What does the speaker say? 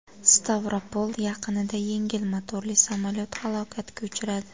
Stavropol yaqinida yengil motorli samolyot halokatga uchradi.